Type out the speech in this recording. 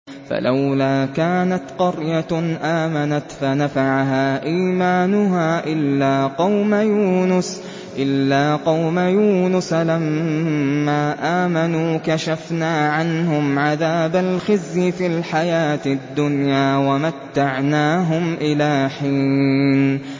فَلَوْلَا كَانَتْ قَرْيَةٌ آمَنَتْ فَنَفَعَهَا إِيمَانُهَا إِلَّا قَوْمَ يُونُسَ لَمَّا آمَنُوا كَشَفْنَا عَنْهُمْ عَذَابَ الْخِزْيِ فِي الْحَيَاةِ الدُّنْيَا وَمَتَّعْنَاهُمْ إِلَىٰ حِينٍ